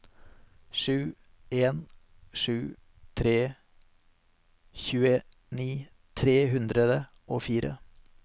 sju en sju tre tjueni tre hundre og fire